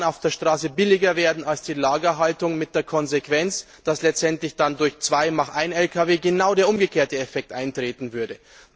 das Fahren auf der Straße billiger werden als die Lagerhaltung, mit der Konsequenz, dass letztendlich durch aus zwei mach einen Lkw genau der umgekehrte Effekt eintreten würde.